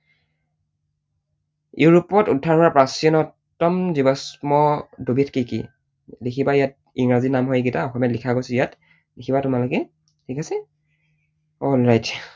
ইউৰোপত উদ্ধাৰ হোৱা প্ৰাচীনতম জীৱাশ্ম দুবিধ কি কি? লিখিবা ইয়াত ইংৰাজী নাম হয় এইকেইটা, অসমীয়াত লিখা গৈছে ইয়াত, লিখিবা তোমালোকে, ঠিক আছে? alright